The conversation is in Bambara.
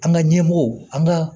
An ka ɲɛmɔgɔw an ka